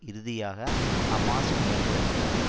இறுதியாக ஹமாஸ் முயன்று வருகிறது